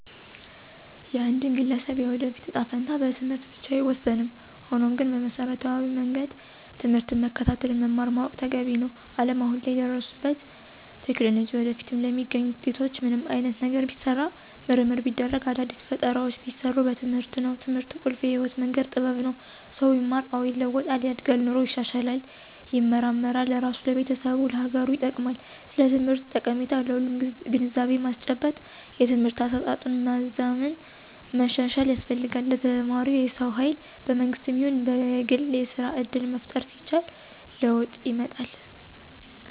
የአንድን ግለሰብ የወደፊት እጣ ፈንታ በትምህርት ብቻ አይወሰንም። ሆኖም ግን በመሰረታዊ መንገድ ትምህርትን መከታተል መማር ማወቅ ተገቢ ነው። አለም አሁን ላይ ለደረሱበት ቴክኖሎጂ ወደፊትም ለሚገኙት ውጤቶች ምንም አይነት ነገር ቢሰራ ምርምር ቢደረግ አዳዲስ ፈጠራውች ቢሰሩ በትምህርት ነው። ትምህርት ቁልፍ የህይወት መንገድ ጥበብ ነው። ሰው ቢማር አዎ ይለዋጣል፣ ያድጋል ኑሮው ይሻሻላል ይመራመራል ለራሱ፣ ለቤተሰቡ፣ ለሀገሩ ይጠቅማል። ስለ ትምህርት ጠቀሜታ ለሁሉም ግንዛቤ ማስጨበጥ የትምህርት አሰጣጡን ማዘመን ማሻሻል ያስፈልጋል። ለተማረው የሰው ሀይል በመንግስትም ይሁን በግል የስራ እድል መፍጠር ሲቻል ለወጥ ይመጣል።